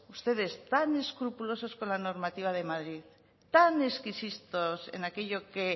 ustedes que son tan escrupulosos con la normativa de madrid tan exquisitos en aquello que